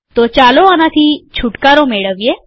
તો ચાલો આનાથી છુટકારો મેળવીએ